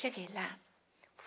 Cheguei lá.